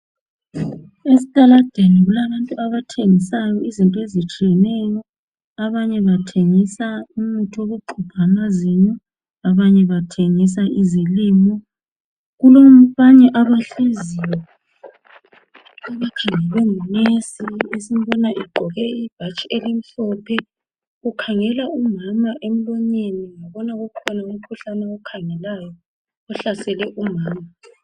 estaladeni kulabantu abathengisayo izinto ezitshiyeneyo omunye engathegisa umuthi wokuxuba amazinyo abanye bathegisa kulabanye abahleziyo abakhalwe ngunensi ogqoke ibhatshi elimhophe ukhangele umama emlonyeni ngibona kukhona umkhuhlane ohlasele umama